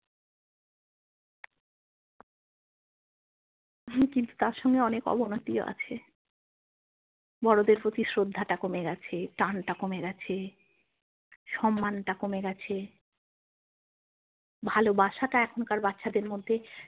হু কিন্তু তার সঙ্গে অনেক অবনতিও আছে বড়োদের প্রতি কমে গেছে টানটা কমে গেছে সম্মানটা কমে গেছে ভালোবাসাটা এখনকার বাচ্চাদের মধ্যে।